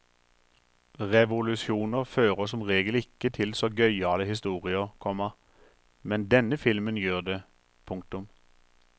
Revolusjoner fører som regel ikke til så gøyale historier, komma men denne filmen gjør det. punktum